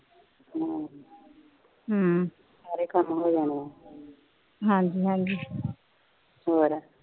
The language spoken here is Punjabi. ਸਾਰੇ ਕੰਮ ਹੋ ਜਾਣੇ ਹਾਂਜੀ ਹਾਂਜੀ ਹੋਰ